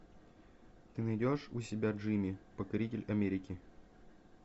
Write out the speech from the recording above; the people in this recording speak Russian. ты найдешь у себя джимми покоритель америки